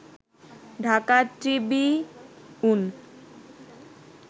Dhaka Tribune